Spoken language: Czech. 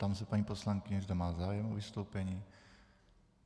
Ptám se paní poslankyně, zda má zájem o vystoupení.